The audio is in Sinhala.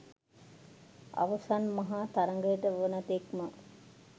අවසන් මහා තරගය වන තෙක්ම